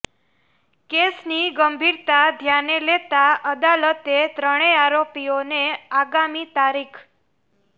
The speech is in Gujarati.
કેસની ગંભીરતા ધ્યાને લેતા અદાલતે ત્રણેય આરોપીઓને આગામી તા